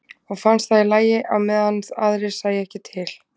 Og fannst það í lagi á meðan aðrir sæju ekki til.